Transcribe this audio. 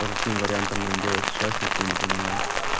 по каким вариантам нам делать сейчас никто не понимает